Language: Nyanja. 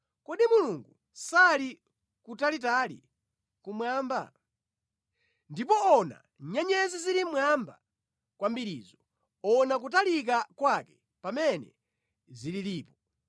“Kodi Mulungu sali kutalitali kumwamba? Ndipo ona nyenyezi zili mmwamba kwambirizo, ona kutalika kwake pamene zililipo!